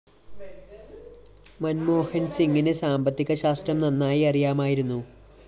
മന്‍മോഹന്‍സിങ്ങിന് സാമ്പത്തിക ശാസ്ത്രം നന്നായി അറിയാമായിരുന്നു